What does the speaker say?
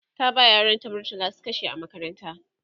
ta ba yaran ta murtala su kashe a makaranta